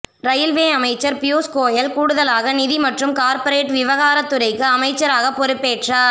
railway அமைச்சர் பியூஸ் கோயல் கூடுதலாக நிதி மற்றும் கார்ப்பரேட் விவகார துறைக்கு அமைச்சராக பொறுப்பேற்றார்